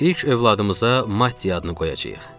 İlk övladımıza Matti adını qoyacağıq.